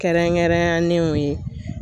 Kɛrɛnkɛrɛnyanenw ye